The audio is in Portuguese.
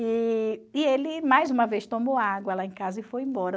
E e ele, mais uma vez, tomou água lá em casa e foi embora.